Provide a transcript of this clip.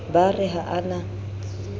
ba re ha a na